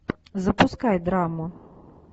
запускай драму